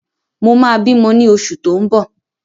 Mo ma bímọ ní oṣù tó ń bọ̀